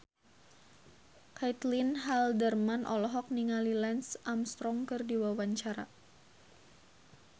Caitlin Halderman olohok ningali Lance Armstrong keur diwawancara